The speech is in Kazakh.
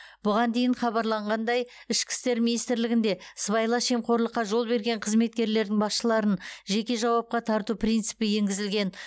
бұған дейін хабарланғандай ішкі істер министрлігін де сыбайлас жемқорлыққа жол берген қызметкерлердің басшыларын жеке жауапқа тарту принципі енгізілген